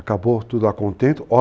Acabou tudo a contento.